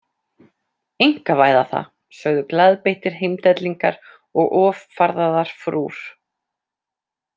Einkavæða það, sögðu glaðbeittir heimdellingar og offarðaðar frúr.